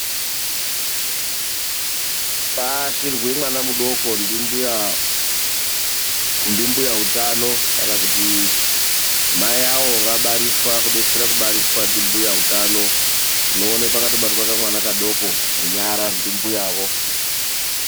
Paashirwe mwana mudoko ndimbuya utano. Kana kuti mai avo vabariswa, kana kuti kudetsere kubariswa ndimbuya utano. Tinoona pakatobatwa kamwana kadoko ndimbuyavo.